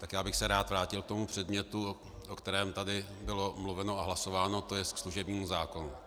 Tak já bych se rád vrátil k tomu předmětu, o kterém tady bylo mluveno a hlasováno, to je ke služebnímu zákonu.